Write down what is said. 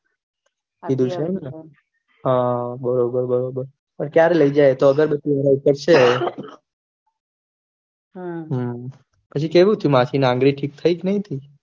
લીધું છે એમ ને હા બરોબર બરોબર ક્યારે લૈજહેં એતો આગરબતી વાળા ઉપર છે હમ પછી કેવું થયું માસી ની આંગળી ઠીક થઇ કે નઈ